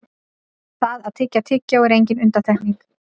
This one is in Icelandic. það að tyggja tyggjó er engin undantekning